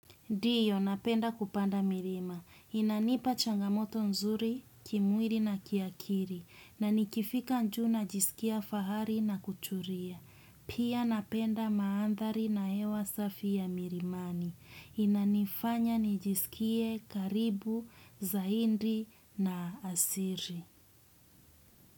Dio, napenda kupanda mirima. Inanipa changamoto nzuri, kimwiri na kiakiri. Na nikifika njuu najisikia fahari na kuchuria. Pia napenda maandhari na hewa safi ya mirimani. Inanifanya nijisikie karibu, zaindi na asiri.